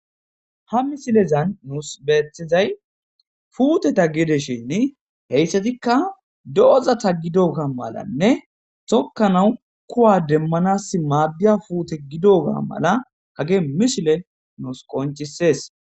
Ha misilezan nuus beethizay fuuteta geedeshinni heyssatikka do7oza ta gidoga malanne tokka nawu kuwa demmanas maaddiya puute gidoga mala hage mishile nuus qoncisees.